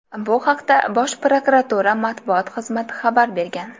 Bu haqda Bosh prokuratura matbuot xizmati xabar bergan .